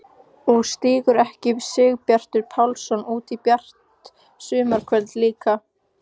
Og stígur ekki Sigurbjartur Pálsson út í bjart sumarkvöldið líka!